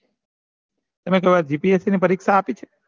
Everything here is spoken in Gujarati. તમે કોઈ વાર g. p. s. c પરીક્ષા છે